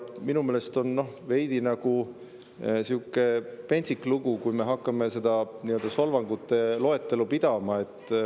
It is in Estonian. Minu meelest on veidi nagu sihuke pentsik lugu, kui me hakkame sellist nii‑öelda solvangute loetelu pidama.